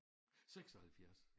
76